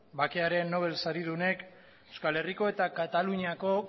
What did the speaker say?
bakearen nobel saridunek euskal herriko eta kataluniako